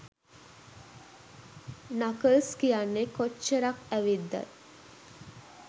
knuckles කියන්නේ කොච්චරක් ඇවිද්දත්